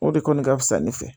O de kɔni ka fisa ne fɛ